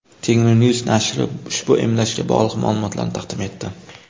Tengrinews nashri ushbu emlashga bog‘liq ma’lumotlarni taqdim etdi .